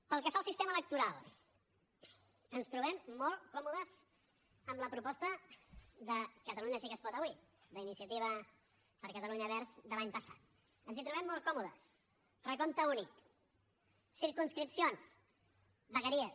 pel que fa al sistema electoral ens trobem molt còmodes amb la proposta de catalunya sí que es pot avui la iniciativa per catalunya verds de l’any passat ens hi trobem molt còmodes recompte únic circumscripcions vegueries